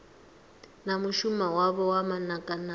na mushumo wavho wa manakanaka